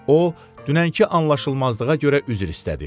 O dünənki anlaşılmazlığa görə üzr istədi.